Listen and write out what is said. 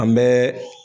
An bɛ